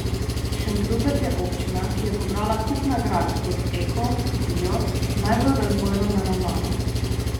Šentrupert je občina, ki je pobrala kup nagrad kot eko, bio, najbolj razvojno naravnana ...